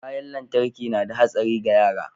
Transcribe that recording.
kayan lantarki nada hatsari ga yara